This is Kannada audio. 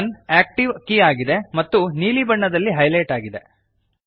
ಕೆ 1 ಆಕ್ಟಿವ್ ಕೀ ಆಗಿದೆ ಮತ್ತು ಬ್ಲೂ ಬಣ್ಣದಲ್ಲಿ ಹೈಲೈಟ್ ಆಗಿದೆ